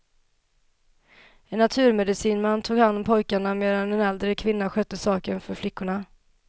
En naturmedicinman tog hand om pojkarna, medan en äldre kvinna skötte saken för flickorna.